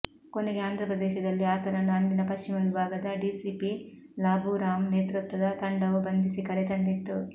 ಕೊನೆಗೆ ಆಂಧ್ರಪ್ರದೇಶದಲ್ಲಿ ಆತನನ್ನು ಅಂದಿನ ಪಶ್ಚಿಮ ವಿಭಾಗದ ಡಿಸಿಪಿ ಲಾಭೂರಾಮ್ ನೇತೃತ್ವದ ತಂಡವು ಬಂಧಿಸಿ ಕರೆ ತಂದಿತ್ತು